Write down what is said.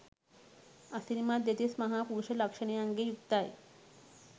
අසිරිමත් දෙතිස් මහා පුරුෂ ලක්ෂණයන්ගෙන් යුක්තයි.